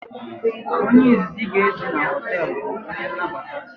Onye izizi ị ga ezu na hoteelu bụ onye nnabata